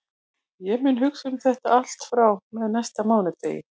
Ég mun hugsa um þetta allt frá og með næsta mánudegi.